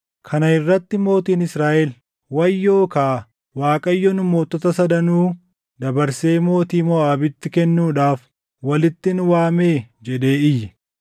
Kana irratti mootiin Israaʼel, “Wayyoo kaa! Waaqayyo nu mootota sadanuu dabarsee mootii Moʼaabitti kennuudhaaf walitti nu waamee?” jedhee iyye.